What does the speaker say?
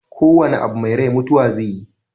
Ko wana abu mai rai mutuwa zaiyi